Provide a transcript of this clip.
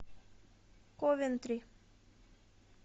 ковентри